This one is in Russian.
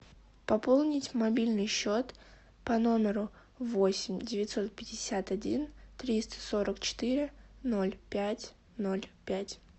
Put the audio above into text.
пополнить мобильный счет по номеру восемь девятьсот пятьдесят один триста сорок четыре ноль пять ноль пять